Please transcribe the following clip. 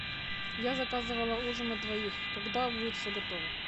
я заказывала ужин на двоих когда будет все готово